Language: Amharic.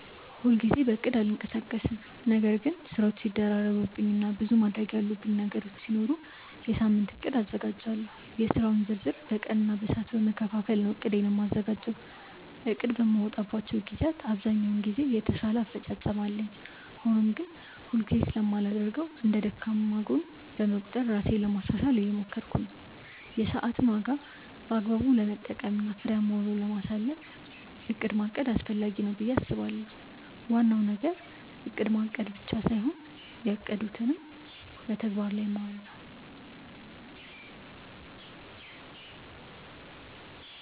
ሁል ጊዜ በእቅድ አልንቀሳቀስም ነገር ግን ስራዎች ሲደራረቡብኝ እና ብዙ ማድረግ ያሉብኝ ነገሮች ሲኖሩ የሳምንት እቅድ አዘጋጃለሁ። የስራውን ዝርዝር በቀን እና በሰዓት በመከፋፈል ነው እቅዴን የማዘጋጀው። እቅድ በማወጣባቸው ግዜያት ብዛኛውን ጊዜ የተሻለ አፈፃፀም አለኝ። ሆኖም ግን ሁል ጊዜ ስለማላደርገው እንደ ደካማ ጎን በመቁጠር ራሴን ለማሻሻሻል እየሞከርኩ ነው። የሰዓትን ዋጋ በአግባቡ ለመጠቀም እና ፍሬያማ ውሎ ለማሳለፍ እቅድ ማቀድ አስፈላጊ ነው ብዬ አስባለሁ። ዋናው ነገር እቅድ ማቀድ ብቻ ሳይሆን ያቀዱትን በተግባር ማዋል ነው።